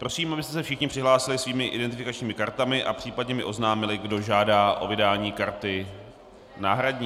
Prosím, abyste se všichni přihlásili svými identifikačními kartami a případně mi oznámili, kdo žádá o vydání karty náhradní.